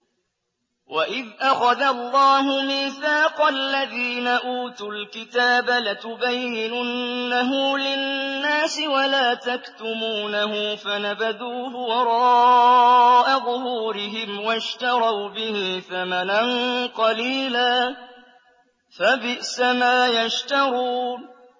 وَإِذْ أَخَذَ اللَّهُ مِيثَاقَ الَّذِينَ أُوتُوا الْكِتَابَ لَتُبَيِّنُنَّهُ لِلنَّاسِ وَلَا تَكْتُمُونَهُ فَنَبَذُوهُ وَرَاءَ ظُهُورِهِمْ وَاشْتَرَوْا بِهِ ثَمَنًا قَلِيلًا ۖ فَبِئْسَ مَا يَشْتَرُونَ